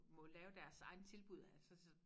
Må lave deres egne tilbud altså så